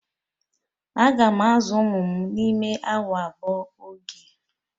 Aga m azụ ụmụ m n'ime awa abụọ oge.